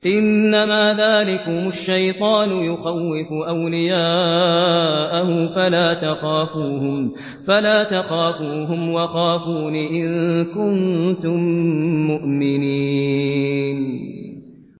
إِنَّمَا ذَٰلِكُمُ الشَّيْطَانُ يُخَوِّفُ أَوْلِيَاءَهُ فَلَا تَخَافُوهُمْ وَخَافُونِ إِن كُنتُم مُّؤْمِنِينَ